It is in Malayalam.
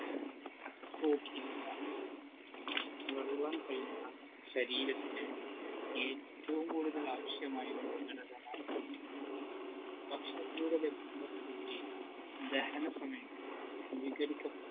protein നുകൾ വെള്ളം കഴിഞ്ഞാൽ ശരീരത്തിന് ഏറ്റവും കൂടുതൽ ആവിശ്യമായൊരു ഘടകമാണ് protein ഭക്ഷണത്തിലൂടെ ലഭിക്കുന്ന protein ദഹന സമയത്ത് വിഘടിക്കപെടുന്നു